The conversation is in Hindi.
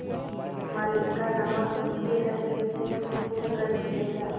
मालिक का नमक उनकी हड्डियों से फूटफूट कर निकलेगा